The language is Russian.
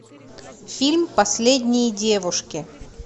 фильм последние девушки